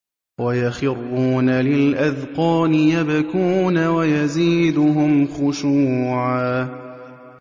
وَيَخِرُّونَ لِلْأَذْقَانِ يَبْكُونَ وَيَزِيدُهُمْ خُشُوعًا ۩